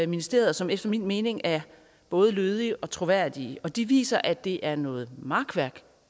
ministeriet og som efter min mening er både lødige og troværdige og de viser at det er noget makværk